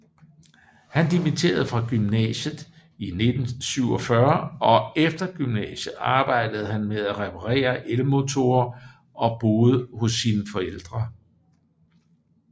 Han dimitterede fra gymnasiet i 1947 og efter gymnasiet arbejdede han med at reparerer elmotorer og boede hos sine forældre